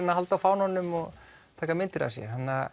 að halda á fánanum og taka myndir af sér